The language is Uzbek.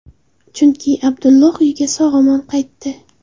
Chunki Abdulloh uyiga sog‘-omon qaytdi.